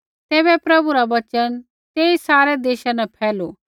तैबै प्रभु रा वचन तेई सारै देशा न फैलू